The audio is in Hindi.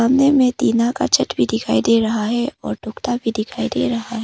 सामने में टीना का छत भी दिखाई दे रहा है और टूकता भी दिखाई दे रहा है।